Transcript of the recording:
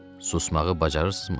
Susmağı bacarırsınızmı?